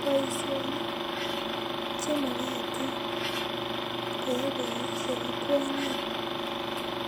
Boishonik chemokotin koyai boishek ak kwonyik